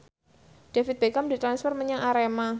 David Beckham ditransfer menyang Arema